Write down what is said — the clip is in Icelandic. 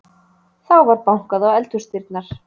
Þá var bankað á eldhúsdyrnar.